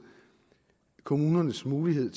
kommunernes mulighed